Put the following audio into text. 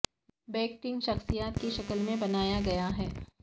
bag tank شخصیات کی شکل میں بنایا گیا ہے